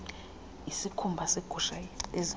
isikhumba segusha ezimpundu